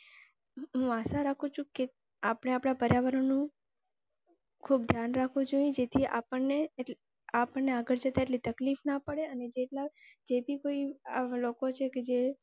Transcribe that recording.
હું આશા રાખું છું કે આપને અપડા પર્યાવરણ નુ ખુબ ધ્યાન રખવું જોઈએ જેથી આપણને આપણને આગળ જતા એટલી તકલીફ ના પડે અને તેથી કોઈ લોકો છે ક જે